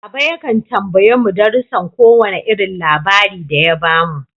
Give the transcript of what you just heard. Baba yakan tambaye mu darusan ko wane irin labari da ya bamu.